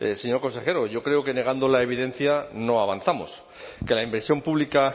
señor consejero yo creo que negando la evidencia no avanzamos que la inversión pública